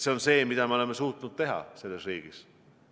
See on see, mida me oleme suutnud teha selles riigis.